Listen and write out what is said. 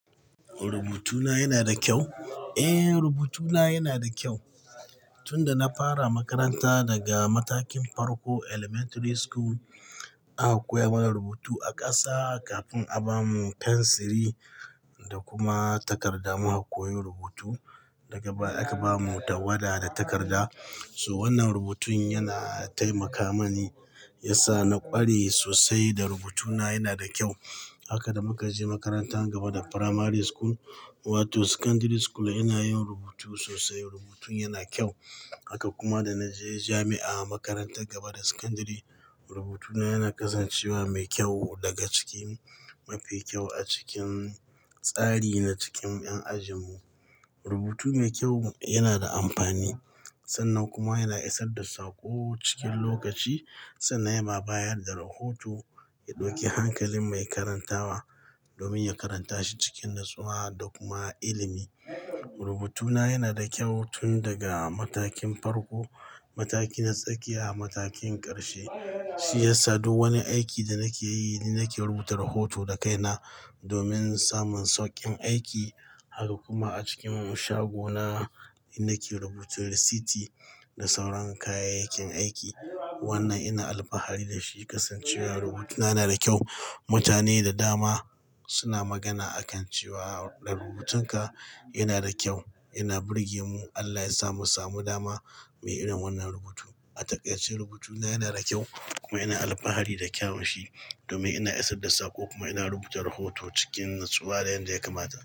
Rubutuna yana da kyau? Eh, rubutuna yana da kyau. Tun da na fara makaranta daga matakin farko, Elementary School, aka koya mana rubutu a ƙasa kafin a ba mu fensiri da kuma takarda. Muka bkoyi rubutu, daga baya aka ba mu tawada da takarda. So wannan rubutun yana taimaka mani, ya sa na ƙware sosai da rubutuna yana da kyau. Haka da muka je makaranta gaba da Primary School, wato Secondary School ina yin rubutu sosai, rubutun yana kyau. Haka kuma da na je jami'a, makarantar gaba da Secondary, rubutuna yana kasancewa mai kyau daga cikin mafi kyau a cikin tsari na cikin ƴan ajin mu. Rubutu mai kyau yana da amfani, sannan kuma yana isar da sako cikin lokaci. Sannan ya ma bayar da rahoto, ya ɗauki hankalin mai karantawa domin ya karanta shi cikin natsuwa da kuma ilimi. Rubutuna yana da kyau tun daga matakin farko, mataki na tsakiya, matakin ƙarshe, shi ya sa duk wani aiki da nake yi, ni nake rubuta rahoto da kai na domin samun sauƙin aiki. Haka kuma a cikin shago na, ni nake rubuta risiti da sauran kayayyakin aiki. Wannan ina alfahari da shi, kasancewar rubutuna yana da kyau. Mutane da dama suna magana a kan cewa rubutunka yana da kyau, yana burge mu. Allah ya samu samu dama muyi irin wannan rubutu. A taƙaice rubutuna yana da kyau kuma ina alfahari da kyawun shi domin yana isar da sako kuma ina rubuta rahoto cikin natsuwa da yadda ya kamata.